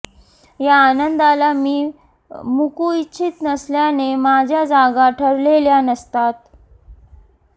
या आनंदाला मी मुकू इच्छित नसल्याने माझ्या जागा ठरलेल्या नसतात